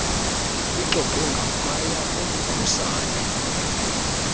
lixoxwe ngaphaya komkhusane